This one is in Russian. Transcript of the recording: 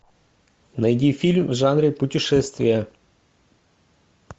найди фильм в жанре путешествия